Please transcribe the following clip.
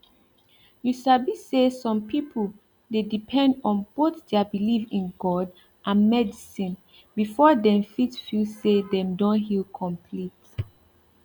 you sabi say some people dey depend on both their belief in god and medicine before dem fit feel say dem don heal complete